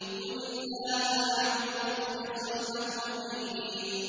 قُلِ اللَّهَ أَعْبُدُ مُخْلِصًا لَّهُ دِينِي